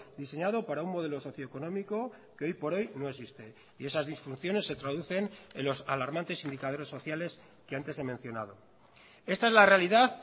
diseñado para un modelo socioeconómico que hoy por hoy no existe y esas disfunciones se traducen en los alarmantes indicadores sociales que antes he mencionado esta es la realidad